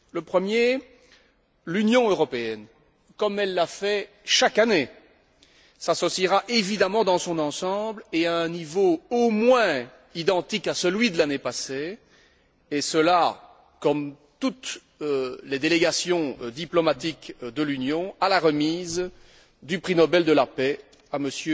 Le premier l'Union européenne, comme elle l'a fait chaque année, s'associera évidemment dans son ensemble et à un niveau au moins identique à celui de l'année passée et cela comme toutes les délégations diplomatiques de l'Union à la remise du prix Nobel de la paix à M.